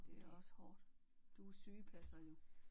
Det er også hårdt. Du er sygepasser jo